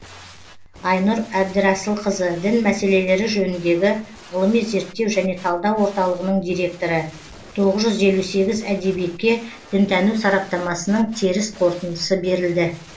айнұр әбдірасылқызы дін мәселелері жөніндегі ғылыми зерттеу және талдау орталығының директоры тоғыз жүз елу сегіз әдебиетке дінтану сараптамасының теріс қорытындысы берілді